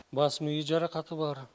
бас миы жарақаты бар